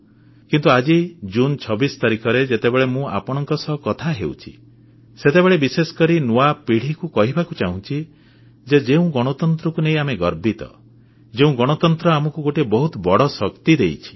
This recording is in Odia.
କିନ୍ତୁ ଆଜି ଜୁନ 26 ତାରିଖରେ ଯେତେବେଳେ ମୁଁ ଆପଣମାନଙ୍କ ସହ କଥା ହେଉଛି ସେତେବେଳେ ବିଶେଷକରି ନୂଆ ପିଢ଼ିକୁ କହିବାକୁ ଚାହୁଁଛି ଯେ ଯେଉଁ ଗଣତନ୍ତ୍ରକୁ ନେଇ ଆମେ ଗର୍ବିତ ଯେଉଁ ଗଣତନ୍ତ୍ର ଆମକୁ ଗୋଟିଏ ବହୁତ ବଡ଼ ଶକ୍ତି ଦେଇଛି